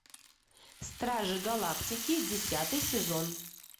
стражи галактики десятый сезон